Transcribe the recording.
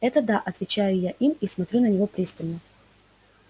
это да отвечаю я им и смотрю на него пристально